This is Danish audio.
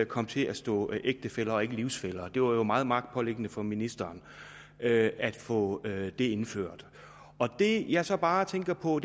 kom til at stå ægtefæller og ikke livsfæller det var jo meget magtpåliggende for ministeren at få det indført det jeg så bare tænker på